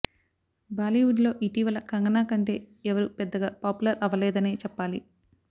బాలీవుడ్ లో ఇటీవల కంగనా కంటే ఎవరు పెద్దగా పాపులర్ అవ్వలేదనే చెప్పాలి